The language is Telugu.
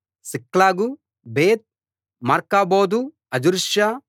సిక్లగు బేత్ మార్కాబోదు హజర్సూసా